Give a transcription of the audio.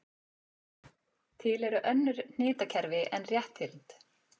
Til eru önnur hnitakerfi en rétthyrnd.